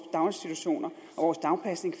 daginstitutioner og dagpasning